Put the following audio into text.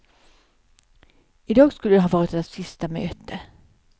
I dag skulle ha varit deras sista möte.